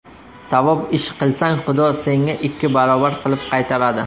Savob ish qilsang, Xudo senga ikki barobar qilib qaytaradi.